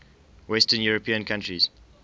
western european countries